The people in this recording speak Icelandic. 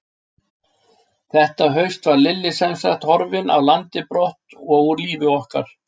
Þetta haust var Lilli semsagt horfinn af landi brott og úr lífi okkar.